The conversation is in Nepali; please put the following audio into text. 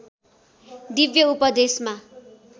दिव्य उपदेशमा